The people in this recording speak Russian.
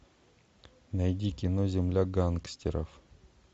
найди кино земля гангстеров